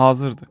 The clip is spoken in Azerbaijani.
Hazırdı.